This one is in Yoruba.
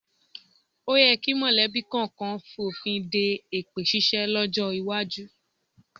O yẹ kí mọ̀lẹ́bí kọ̀ọ̀kan fònfin de èpè ṣíṣe lọ́jọ́ iwájú